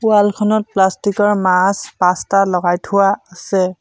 Wall খনত প্লাষ্টিকৰ মাছ পাঁচটা লগাই থোৱা আছে।